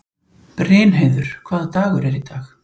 Brynheiður, hvaða dagur er í dag?